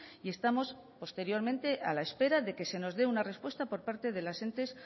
y estamos posteriormente a la espera de que se nos dé una respuesta por parte de los entes